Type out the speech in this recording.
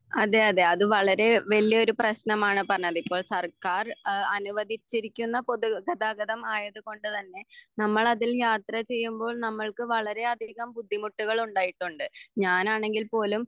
അതെ അതെ അത് വളരെ വലിയൊരു പ്രേശ്നമാണ് പറഞ്ഞത് ഇപ്പോൾ സർക്കാർ എഹ് അനുവദിചിരിക്കുന്ന പൊതുഗതാഗതം ആയതുകൊണ്ട് തന്നെ നമ്മൾ അതിൽ യാത്ര ചെയുമ്പോൾ നമ്മൾക്ക് വളരെ അധികം ബുദ്ധിമുട്ടുകൾ ഉണ്ടായിട്ടുണ്ട് ഞാൻ ആണെങ്കിൽ പോലും